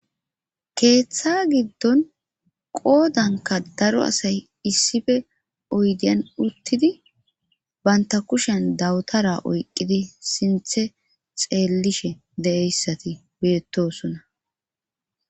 keeththa giddon qoodanka daro asay issife oydiyan uttidi banta kushen dawutara oyqqidi sinthe xeellishe de7eyssati beettosona